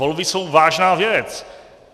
Volby jsou vážná věc.